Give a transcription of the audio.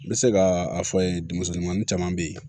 N bɛ se ka a fɔ yen dumɛnin caman bɛ yen